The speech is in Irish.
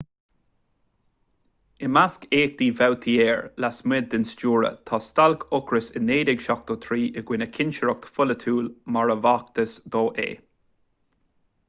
i measc éachtaí vautier lasmuigh den stiúradh tá stailc ocrais i 1973 i gcoinne cinsireacht pholaitiúil mar a b'fhacthas dó é